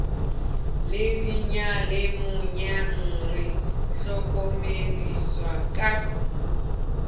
le diyalemoyeng re hlokomediswa ka